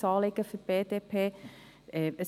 Sein Anliegen ist für die BDP wichtig.